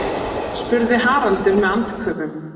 spurði Haraldur með andköfum.